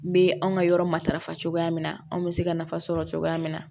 N bɛ anw ka yɔrɔ matarafa cogoya min na anw bɛ se ka nafa sɔrɔ cogoya min na